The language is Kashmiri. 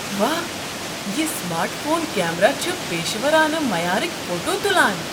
واہ! یہ سمارٹ فون کیمرہ چھ پیشورانہٕ معیارٕکۍ فوٹو تُلان۔